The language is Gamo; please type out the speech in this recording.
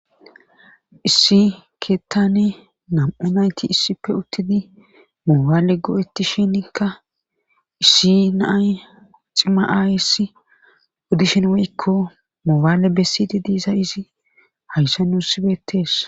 Issi keettane nam7u nayti issipfe uttidi moobaale go7etti shinikka issi nay ximaayissi uddishin weykko moobaale bessidi diisa izi hayssa nusi betees.